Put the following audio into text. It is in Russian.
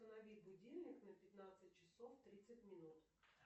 установи будильник на пятнадцать часов тридцать минут